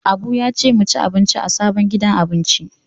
Abu ya ce mu ci abinci a sabon gidan abinci.